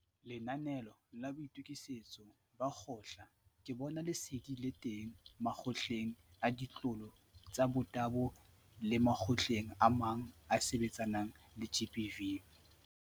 Lenanaeo la Boitokisetso ba Kgotla la Ke Bona Lesedi le teng Makgotleng a Ditlolo tsa Motabo le makgotleng a mang a a sebetsanang le GBV.